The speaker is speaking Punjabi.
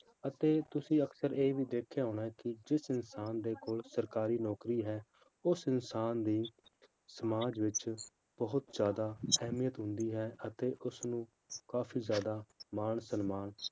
ਅਤੇ ਤੁਸੀਂ ਅਕਸਰ ਇਹ ਵੀ ਦੇਖਿਆ ਹੋਣਾ ਕਿ ਜਿਸ ਇਨਸਾਨ ਦੇ ਕੋਲ ਸਰਕਾਰੀ ਨੌਕਰੀ ਹੈ, ਉਸ ਇਨਸਾਨ ਦੀ ਸਮਾਜ ਵਿੱਚ ਬਹੁਤ ਜ਼ਿਆਦਾ ਅਹਿਮੀਅਤ ਹੁੰਦੀ ਹੈ, ਅਤੇ ਉਸਨੂੰ ਕਾਫ਼ੀ ਜ਼ਿਆਦਾ ਮਾਨ ਸਨਮਾਨ